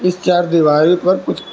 इस चार दीवारी पर कुछ--